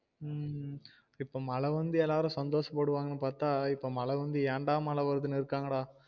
உம் இப்ப மழ வந்து எல்லாரும் சந்தோஷ படுவாங்கனு பாத்தா இப்ப மழ வந்து என் டா மழ வருதுனு இருக்காங்கடா